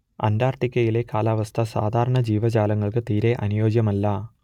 അന്റാർട്ടിക്കയിലെ കാലാവസ്ഥ സാധാരണ ജീവജാലങ്ങൾക്ക് തീരെ അനുയോജ്യമല്ല